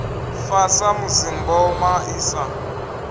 fa samusi mboma i sa